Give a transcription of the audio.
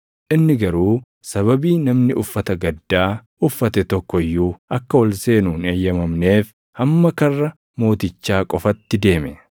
Inni garuu sababii namni uffata gaddaa uffate tokko iyyuu akka ol seenu hin eeyyamamneef hamma karra mootichaa qofatti deeme.